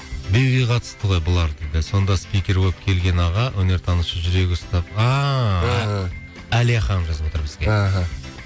биге қатысты ғой бұлардікі сонда скипер болып келген аға өнертанушы жүрегі ұстап ааа ыыы алия ханым жазып отыр бізге аха